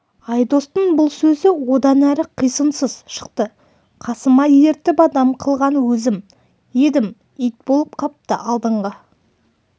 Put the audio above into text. айдостың бұл сөзі одан әрі қисынсыз шықты қасыма ертіп адам қылған өзім едім ит болып қапты алдыңғы